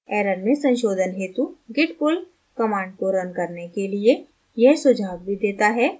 error में संशोधन हेतु git pull command को रन करने के लिए यह सुझाव भी देता है